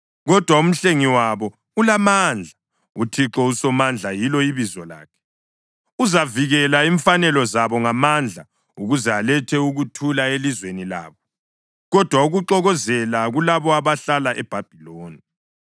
Kodwa uMhlengi wabo ulamandla; uThixo uSomandla yilo ibizo lakhe. Uzavikela imfanelo zabo ngamandla ukuze alethe ukuthula elizweni labo, kodwa ukuxokozela kulabo abahlala eBhabhiloni.